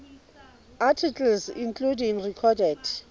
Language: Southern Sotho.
articles including recorded